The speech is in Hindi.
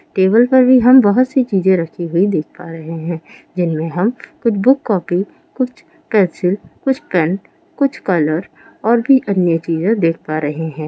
टेबल पर भी हम बहुत सी चीजे रखी हुई देख पा रहे है जिनमे हम कुछ बुक कोफ़ी कुछ पेंसिल कुछ पेन कुछ कलर और भी अन्य चीजे देख पा रहे है।